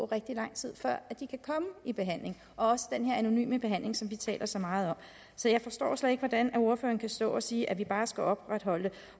rigtig lang tid før de kan komme i behandling også den her anonyme behandling som vi taler så meget om så jeg forstår slet ikke hvordan ordføreren kan stå og sige at vi bare skal opretholde